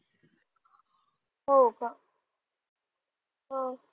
हो का हं